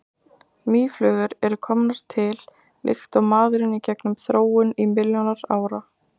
mýflugur eru komnar til líkt og maðurinn í gegnum þróun í milljónir ára